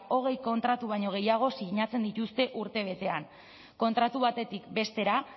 hogei kontratu baino gehiago sinatzen dituzte urtebetean kontratu batetik bestera